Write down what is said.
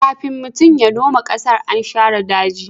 kafin mutum ya noma ƙasar, an share daji